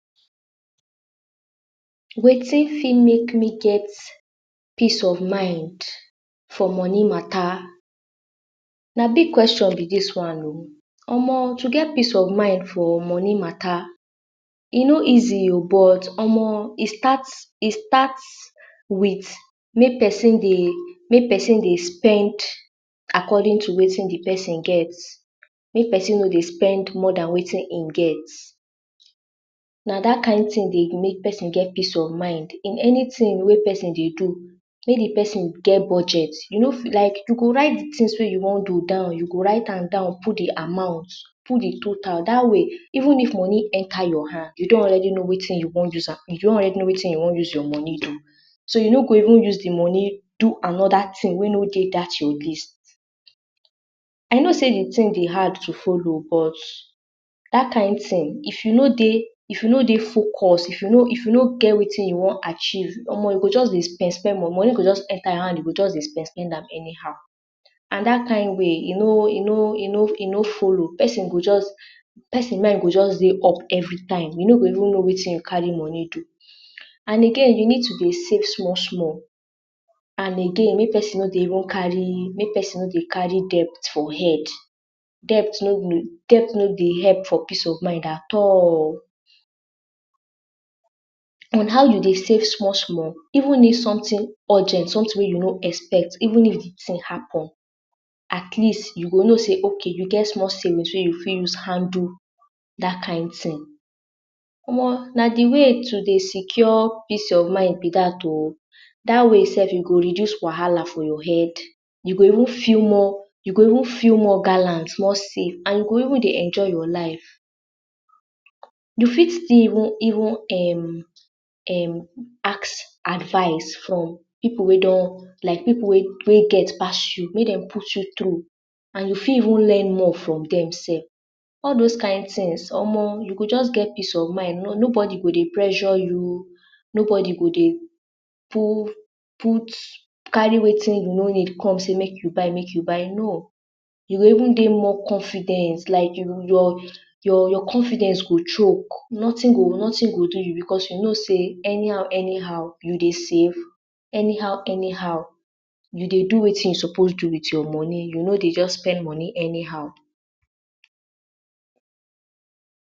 Wetin fit make me get peace of mind for money matter? Na big question be dis one oh. Omoh! to get peace of mind for money matter, e no easy oh. But omoh, e start e start with make pesin dey make pesin dey spend according to wetin the pesin get. Make pesin no dey spend more than wetin ein get. Na dat kain tin dey make pesin get peace of mind. In anything wey pesin dey do, make the pesin get budget. You no fit like you go write the tins wey you wa do down. You go write am down, put the amount, put the total. Dat way, even if money enter your hand, you don already know wetin you wan use am, you don already know wetin you wan use your money do. So, you no go even use the money do another tin wey no dey dat your list. I know sey the tin dey hard to follow, but dat kain tin, if you no dey if you no dey focus, if you no if you no get wetin you wan achieve, omoh you go juz deh spend-spend money. Money go juz enter your hand you go juz dey spend-spend am anyhow. An dat kain way, e no e no e no e no follow. Pesin go juz, pesin mind go juz dey up every time. You no go even know wetin you carry money do. An again, you need to dey save small-small. An again, make pesin no dey even carry, make pesin no dey carry debt for head. Debt no Debt no dey help for peace of mind at all. An how you dey save small-small, even if something urgent, something wey you no expect, even if the tin happen, at least, you go know sey okay you get small savings wey you fit use handle dat kain tin. Omoh, na the way to dey secure peace of mind be dat oh. Dat way sef, you go reduce wahala for your head. You go even feel more you go even feel more gallant, more safe, an you go even dey enjoy your life. You fit still even even um um ask advice from pipu wey don like pipu wey wey get pass you, make dem put you through, an you fit even learn more from dem sef. All dos kain tins, omoh you go juz get peace of mind, no nobody go dey pressure you. Nobody go dey put carry wetin you no need come sey make you buy make you buy. No. You go even dey more confident, like your your your confidence go choke. Nothing go nothing go do you becos you know sey anyhow-anyhow you dey save, anyhow-anyhow you dey do wetin you suppose do with your money, you no dey juz spend money anyhow.